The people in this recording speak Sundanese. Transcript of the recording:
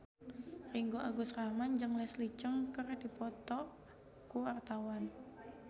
Ringgo Agus Rahman jeung Leslie Cheung keur dipoto ku wartawan